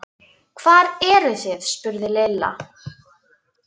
Hvar eruð þið? spurði Lilla.